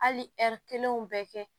Hali ɛri kelenw bɛɛ kɛ